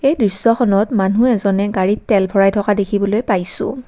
এই দৃশ্যখনত মানুহ এজনে গাড়ীত তেল ভৰাই থকা যেন দেখিবলৈ পাইছোঁ।